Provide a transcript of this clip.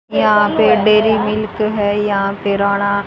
यहां पे dairy milk है यहां किराना--